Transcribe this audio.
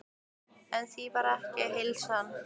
En því var ekki að heilsa.